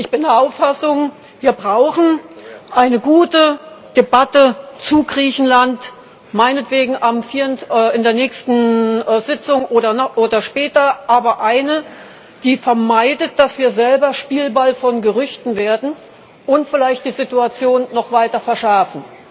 Ich bin der Auffassung, wir brauchen eine gute Debatte zu Griechenland, meinetwegen in der nächsten Sitzung oder später, aber eine, die vermeidet, dass wir selber Spielball von Gerüchten werden und vielleicht die Situation noch weiter verschärfen.